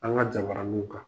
An ka jabaraniw kan.